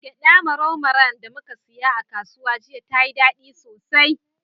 Gyaɗa marau maran da muka siya a kasuwa jiya, tayi daɗi sosai.